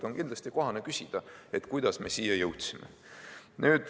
Ja on kindlasti kohane küsida, kuidas me siia jõudsime.